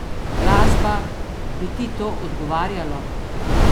Glasba, bi ti to odgovarjalo?